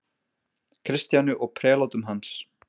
Kristjáni og prelátum hans.